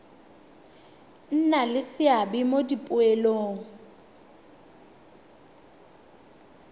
nna le seabe mo dipoelong